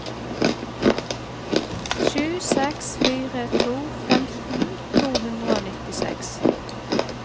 sju seks fire to femten to hundre og nittiseks